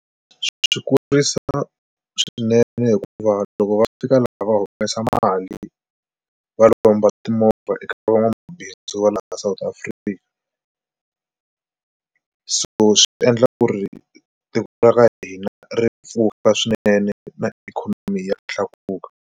Swi kurisa swinene hikuva loko va fika laha va humesa mali va lomba timovha eka van'wamabindzu va laha South Africa, so swi endla ku ri tiko ra hina ri pfuka swinene na ikhonomi ya tlakuka.